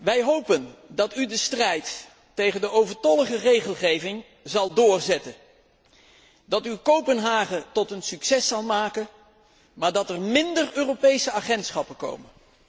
Wij hopen dat u de strijd tegen de overtollige regelgeving zal doorzetten, dat u Kopenhagen tot een succes zal maken, maar dat er minder Europese agentschappen komen.